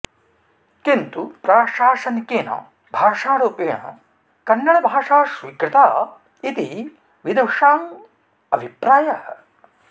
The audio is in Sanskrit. किन्तु प्राशासनिकेन भाषारुपेण कन्नडभाषा स्वीकृता इति विदुषाम् अभिप्रायः